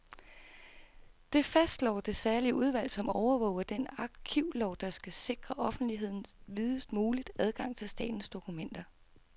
Det fastslår det særlige udvalg, som overvåger den arkivlov, der skal sikre offentligheden videst mulig adgang til statens dokumenter.